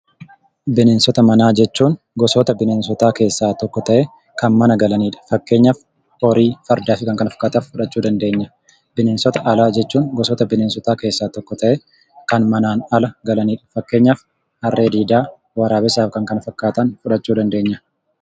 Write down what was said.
Bineensota manaa jechuun gosoota bineensotaa keessaa tokko ta'ee, kan mana galanidha. Fakkeenyaaf horii, fardaafi kan kana fakkaatan fudhachuu dandeenya. Bineensota alaa jechuun gosoota bineensotaa keessaa tokko ta'ee kan manaan ala galanidha. Fakkeenyaaf harree diidaa, waraabessaaf kan kana fakkaatan fudhachuu dandeenya.